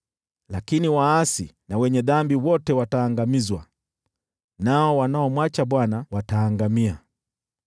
Lakini waasi na wenye dhambi wote wataangamizwa, nao wanaomwacha Bwana wataangamia.